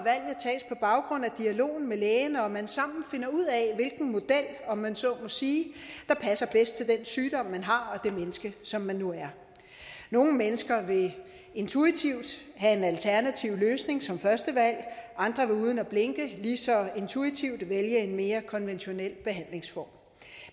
at baggrund af dialogen med lægen og at man sammen finder ud af hvilken model om man så må sige der passer bedst til den sygdom man har og det menneske som man nu er nogle mennesker vil intuitivt have en alternativ løsning som første valg andre vil uden at blinke lige så intuitivt vælge en mere konventionel behandlingsform